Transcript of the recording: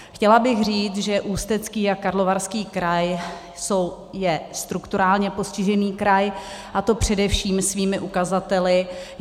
Chtěla bych říct, že Ústecký a Karlovarský kraj jsou strukturálně postižené kraje, a to především svými ukazateli.